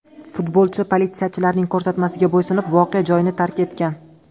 Futbolchi politsiyachilarning ko‘rsatmasiga bo‘ysunib, voqea joyini tark etgan.